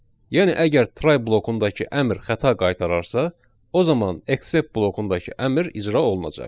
Yəni əgər try blokundakı əmr xəta qaytararsa, o zaman except blokundakı əmr icra olunacaq.